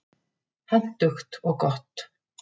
Hentugt og gott.